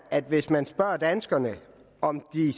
at hvis man spørger danskerne om de